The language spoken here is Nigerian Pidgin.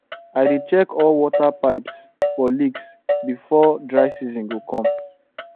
i dey check all water pipes for leaks before dry season go come